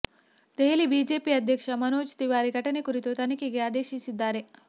Delhi BJP ಅಧ್ಯಕ್ಷ ಮನೋಜ್ ತಿವಾರಿ ಘಟನೆ ಕುರಿತು ತನಿಖೆಗೆ ಆದೇಶಿಸಿದ್ದಾರೆ